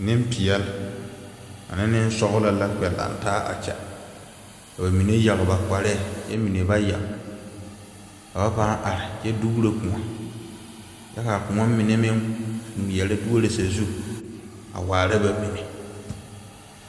Ninpɛɛle ane ninsɔɔlo la kpɛ langtaa a kye ba mene yag ba kparee kye mene ba yag ka ba pãã arẽ kye duuro koun kye ka a koun mene meng ngmeɛre duoro sazu a waara ba mene.